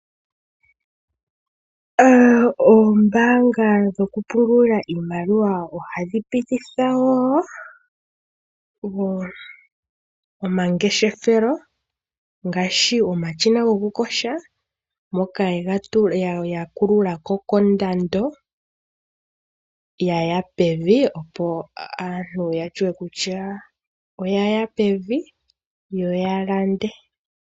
Oombanga dhoku pungula iimaliwa ohadhi pititha wo omangeshefelo ngaashi omashina goku kosha moka ya kululako kondando yaya pevi opo aantu yashiwe kutya oya yapevi yoya lande.